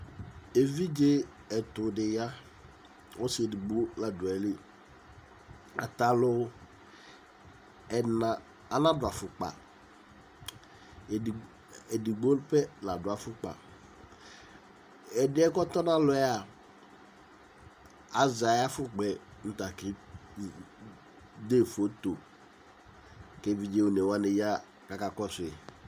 Evidze etudi ya ɔsɩedigbo ladu ayili atalu ɛna anadu afʊkpa edigbo pɛ ladu afʊkpa ɛdiɛ kɔtɔnalɔ azɛ ayʊ afʊkpa nu takede foto kevidze onewa ya kakɔsu